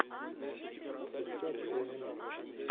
искать реанимация